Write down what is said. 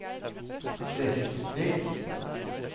Fresvik